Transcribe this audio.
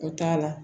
O t'a la